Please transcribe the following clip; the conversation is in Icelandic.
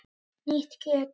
Nýtt kjöt!